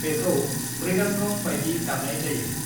बेखौ मृदंगम बायदि दामनाय जायो।